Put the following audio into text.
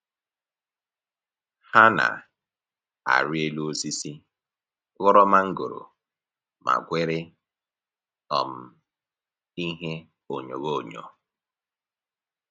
Ha na-arị elu osisi, ghọrọ mangoro ma gwere um ihe onyoghonyoo